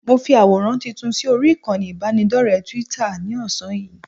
Mo fi àwòrán tuntun sí orí ìkànnì ìbánidọ́rẹ̀ẹ́ Twitter ní ọ̀sán yìí